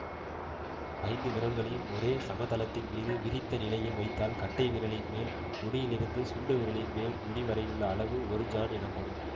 ஐந்து விரல்களையும் ஒரு சமதளத்தின் மீது விரித்தநிலையில் வைத்தால் கட்டை விரலின் மேல் நுனியிலிருந்து சுண்டுவிரலின் மேல் நுனிவரையுள்ள அளவு ஒரு சாண் எனப்படும்